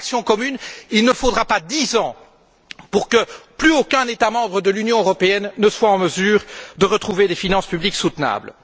Sans action commune, il ne faudra pas dix ans pour que plus aucun État membre de l'Union européenne ne soit en mesure de retrouver des finances publiques soutenables.